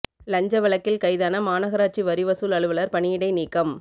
லஞ்ச வழக்கில் கைதான மாநகராட்சி வரி வசூல் அலுவலா் பணியிடை நீக்கம்